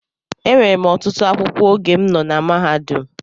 Enwere m ọtụtụ akwụkwọ oge m nọ na mahadum